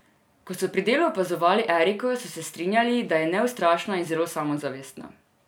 Ko so pri delu opazovali Eriko, so se strinjali, da je neustrašna in zelo samozavestna.